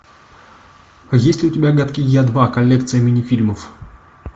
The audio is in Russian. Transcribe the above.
есть ли у тебя гадкий я два коллекция мини фильмов